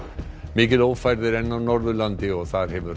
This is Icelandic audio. mikil ófærð er enn á Norðurlandi og þar hefur